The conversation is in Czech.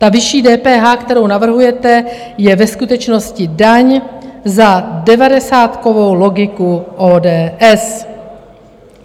Ta vyšší DPH, kterou navrhujete, je ve skutečnosti daň za devadesátkovou logiku ODS.